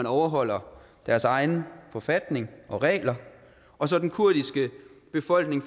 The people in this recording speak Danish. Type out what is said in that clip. overholder deres egen forfatning og regler og så den kurdiske befolkning